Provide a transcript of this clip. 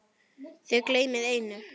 Þið gleymið einu.